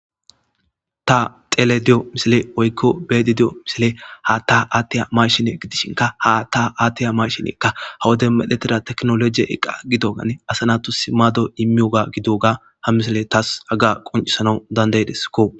Ta xelayda diyo misiley woyko beyayda diya misiley haata atiyo mashine gidishinka ha hata atiyo mashineyka ha wode tekinolojen medhetida eqa gidogani asa natus maado imiyoga gidoga ha misiley taasi qoncisana danda'esko.